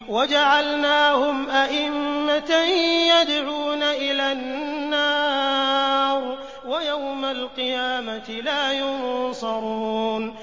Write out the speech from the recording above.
وَجَعَلْنَاهُمْ أَئِمَّةً يَدْعُونَ إِلَى النَّارِ ۖ وَيَوْمَ الْقِيَامَةِ لَا يُنصَرُونَ